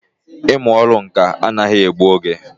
Ị mụ ọrụ ǹkà anaghị egbụ oge